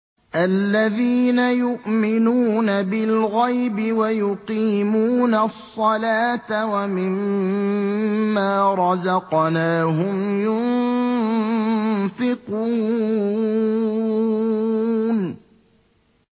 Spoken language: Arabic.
الَّذِينَ يُؤْمِنُونَ بِالْغَيْبِ وَيُقِيمُونَ الصَّلَاةَ وَمِمَّا رَزَقْنَاهُمْ يُنفِقُونَ